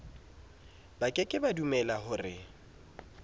ba ke ke ba dumelahore